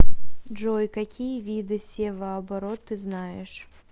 джой какие виды севооборот ты знаешь